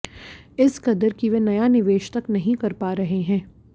इस कदर कि वे नया निवेश तक नहीं कर पा रहे हैं